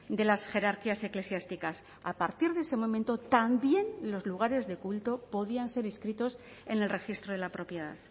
de las jerarquías eclesiásticas a partir de ese momento también los lugares de culto podían ser inscritos en el registro de la propiedad